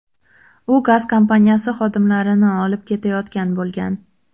U gaz kompaniyasi xodimlarini olib ketayotgan bo‘lgan.